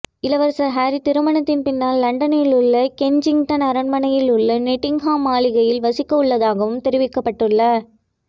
இளவரசர் ஹரி திருமணத்தின் பின்னர் லண்டனில் உள்ள கென்சிங்டன் அரண்மனையில் உள்ள நொட்டிங்ஹாம் மாளிகையில் வசிக்கவுள்ளதாகவும் தெரிவிக்கப்பட்டுள்ள